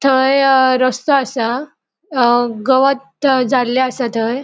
थय अ रस्तो असा अ गवत जालले असा थंय.